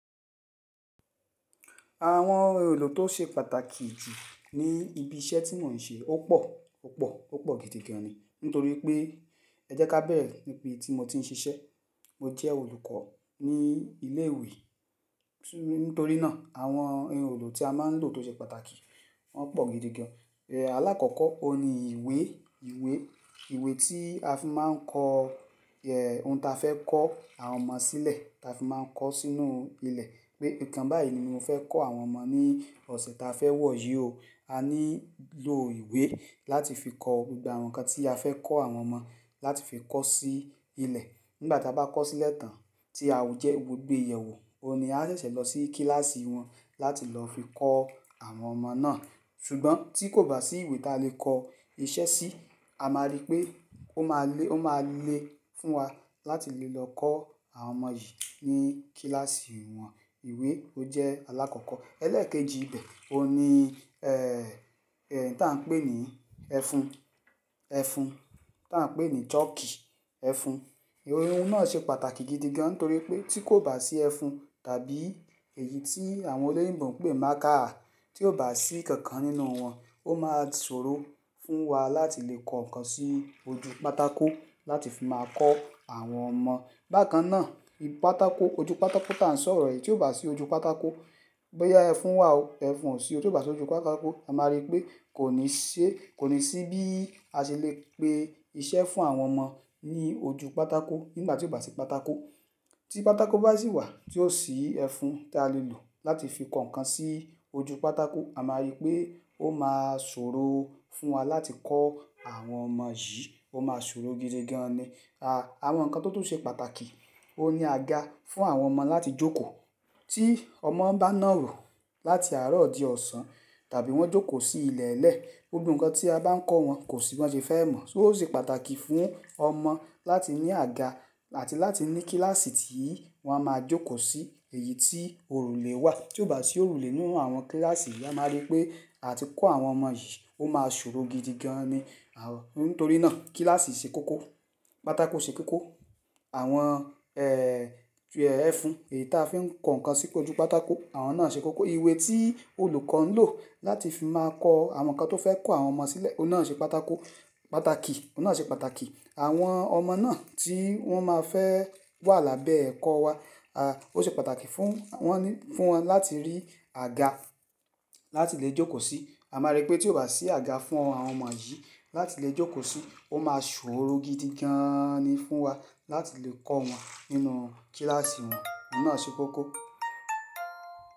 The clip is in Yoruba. Àwọn ohun èlò tó ṣe pàtàkì ju ní ibi iṣẹ́ tí mò ń ṣe ó pọ̀, ó pọ̀, ó pọ̀ gidigan ni. Nítorí pé ẹ jẹ́ ká bẹ̀rẹ̀ níbi tí mo ti ń ṣiṣẹ́. Mo jẹ́ olùkọ́ ní ilé ìwé, nítorí náà àwọn ohun èlò tí a máa ń lò tó ṣe pàtàkì wọ́n pọ̀ gidigan. Eh, alákọ̀ọ́kọ́ òun ni ìwé, ìwé. Ìwé tí a fi máa ń kọ ẹh, ohun ta fẹ́ kọ́ àwọn ọmọ sílẹ̀ ta fi máa ń kọ sínú ilẹ̀. Pé nǹkan báyìí ni mo fẹ́ kọ́ àwọn ọmọ ní ọ̀sẹ̀ ta fẹ́ wọ̀ yí ò, a nílò ìwé láti fi kọ gbogbo àwọn nǹkan tí a fẹ́ kọ́ àwọn ọmọ láti fi kọ́ sí ilẹ̀. Nígbà tí a bá kọ́ sílẹ̀ tán tí a jẹ́ gbogbo ìyẹ̀wù, òun ni a ṣẹ̀ṣẹ̀ lọ sí kíláàsì wọn láti lọ fi kọ́ àwọn ọmọ náà. Ṣùgbọ́n tí kò bá sí ìwé ta lè kọ iṣẹ́ sí, a máa rí pé ó máa lé, ó máa lé fún wa láti lè lọ kọ́ àwọn ọmọ yìí ní kíláàsì wọn. Ìwé ó jẹ́ alákọ̀ọ́kọ́. Ẹlẹ́ẹ̀kejì bẹ́ẹ̀, òun ni eh, èyí ta ń pè ní ẹfun, ẹfun ta ń pè ní chalk ẹfun. Ohun náà ṣe pàtàkì gidi gan torí pé tí kò bá sí ẹfun tàbí èyí tí àwọn olóyìnbo ń pè marker, tí ò bá sí kankan nínú wọn, ó máa ṣòro fún wa láti lè kọ nǹkan sí ojú pátákó láti fi máa kọ́ àwọn ọmọ. Bákan náà, pátákó, ojú pátákó ta ń sọ̀rọ̀ èyí tí ò bá sí ojú pátákó, bóyá ẹfun wà ọ ẹfun ò sí, tí ò bá sí ojú pátákó, a máa rí pé kò ní ṣe, kò ní sí bí a ṣe lè gbé iṣẹ́ fún àwọn ọmọ ní ojú pátákó nígbà tí ò bá sí pátákó. Tí pátákó bá sì wà tí ò sí ẹfun tí a lè lò láti fi kọ nǹkan sí ojú pátákó, a máa rí pé ó máa ṣòro fún wa láti kọ́ àwọn ọmọ yìí, ó máa ṣòro gidi gan ni. Àwọn nǹkan tó tún ṣe pàtàkì òun ni àga fún àwọn ọmọ láti jókòó. Tí ọmọ bá nàro láti àárọ̀ di ọ̀sán tàbí wọ́n jókòó sí ilẹ̀lẹ̀ẹ́, gbogbo nǹkan tí a bá ń kọ́ wọn kò sì wọ́n ṣe fẹ́ mọ̀. So ó ṣe pàtàkì fún ọmọ láti ní àga àti láti ní kíláàsì tí wọ́n máa jókòó sí èyí tí òrùlé wà. Tí ò bá sí òrùlé nínú àwọn kíláàsì yìí, a máa rí pé àti kọ́ àwọn ọmọ yìí ó máa ṣòro gidi gan ni. Àwọn, nítorí náà kíláàsì ṣe kókó, pátákó ṣe kókó. Àwọn eh, ẹfun èyí ta fi ń kọ nǹkan sí ojú pátákó àwọn náà ṣe kókó. Ìwé tí olùkọ́ ń lò láti fi máa kọ àwọn nǹkan tó fẹ́ kọ́ àwọn ọmọ sílẹ̀ òun náà ṣe pátákó, pàtàkì, òun náà ṣe pàtàkì. Àwọn ọmọ náà tí wọ́n máa fẹ́ wà lábẹ́ ẹ̀kọ́ wa, a, ó ṣe pàtàkì fún wọ́n, fún wọn láti rí àga láti lè jókòó sí. A máa rí pé tí ò bá sí àga fún àwọn ọmọ yìí láti lè jókòó sí, ó máa ṣòro gidi gááán ni fún wa láti lè kọ́ wọn nínú kíláàsì wọn. Òun náà ṣe kókó.